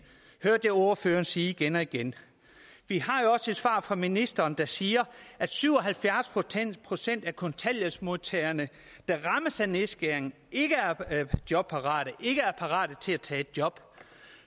hørte jeg ordføreren sige igen og igen vi har jo også et svar fra ministeren der siger at syv og halvfjerds procent af kontanthjælpsmodtagerne der rammes af nedskæring ikke er jobparate ikke er parate til at tage et job